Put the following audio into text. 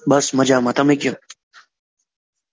બસ માજમાં